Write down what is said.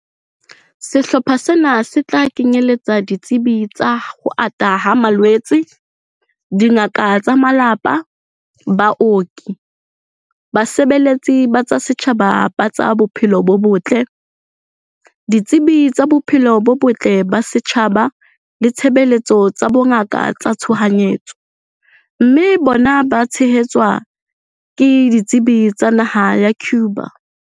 Sehlopha sena se tla kenyeletsa ditsebi tsa ho ata ha malwetse, dingaka tsa malapa, baoki, basebeletsi ba tsa setjhaba ba tsa bophelo bo botle, ditsebi tsa bophelo bo botle ba setjhaba le ditshebeletso tsa bongaka tsa tshohanyetso, mme bona ba tshehetswe ke ditsebi tsa naha ya Cuba.